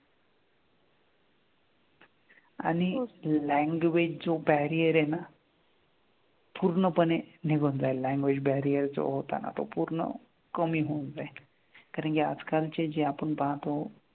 आणि language जो barrier आहे ना पूर्णपणे निघून जाईल, language barrier जो होता ना तो पूर्ण कमी होऊन जाईल. कारण की आजकालचे जे आपण पाहतो,